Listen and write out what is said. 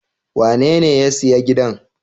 Wanene ya siya giɗan?